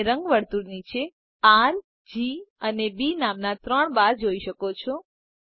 તમે રંગ વર્તુળ નીચે આર જી અને બી નામના ત્રણ બાર જોઈ શકો છો